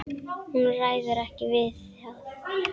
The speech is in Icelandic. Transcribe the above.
Hún ræður ekki við það.